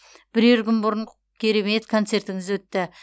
бірер күн бұрын керемет концертіңіз өтті